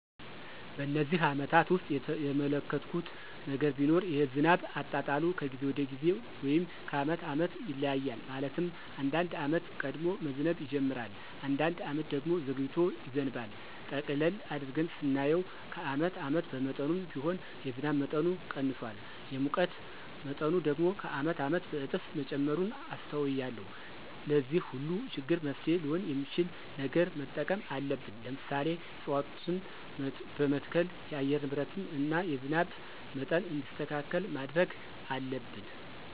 በነዚህ አመታት ውስጥ የተመለከትሁት ነገር ቢኖር የዝናብ አጣጣሉ ከጊዜ ወደ ጊዜ ወይም ከአመት አመት ይለያያል። ማለትም አንዳንድ አመት ቀድሞ መዝነብ ይጅምራል። አንዳንድ አመት ደግሞ ዘግይቶ ይዘንባል። ጠቅለል አድርገን ስናየው ከአመት አመት በመጠኑም ቢሆን የዝናብ መጠኑ ቀንሷል። የሙቀት መጠኑ ደግሞ ከአመት አመት በእጥፍ መጨመሩን አስተውያለሁ። ለዚህ ሁሉ ችግር መፍትሔ ሊሆን የሚችል ነገር መጠቀም አለብን። ለምሳሌ፦ እፅዋትን በመትከል የአየር ንብረትን እና የዝናብ መጠን እንዲስተካከል ማድረግ አለብን።